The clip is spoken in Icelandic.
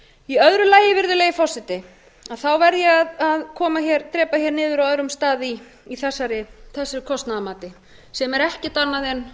í öðru lagi verð ég að drepa niður á öðrum stað í þessu kostnaðarmati sem er ekkert annað en